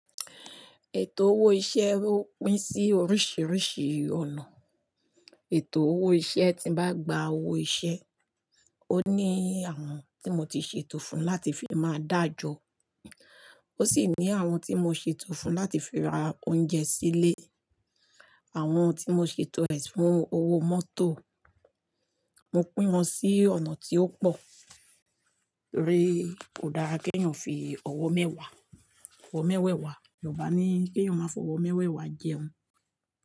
Ètò owó iṣẹ́ ó pín sí oríṣìíríṣìí ọ̀nà. Ètò owó iṣẹ́ tí bá gba owó iṣẹ́, ó ní àwọn tí mo ti ṣètò fún láti fi máa dá ajọ, ó sì ní àwọn tí mo ṣètò fún láti fi ra oúnjẹ sílé, àwọn tí mo ṣètò ẹ̀ fún owó mọ́tò. Mo pín wọn sí ọ̀nà tí ó pò. Pé kò dára, kéèyàn fi ọ̀wọ́ mẹ́wá, ọ̀wọ́ mẹ́wẹ̀ wá. Yọ̀ruba ní, kéeyàn máa fọwọ́ mẹ́wẹ̀wa jẹun.